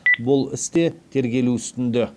бұл іс те тергелу үстінде